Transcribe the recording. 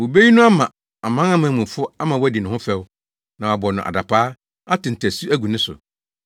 Wobeyi no ama amanamanmufo ama wɔadi ne ho fɛw, na wɔabɔ no adapaa, ate ntasu agu ne so,